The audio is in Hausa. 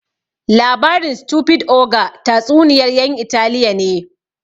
Labarin Stupid ogre tatsuniyar yan Italiya ne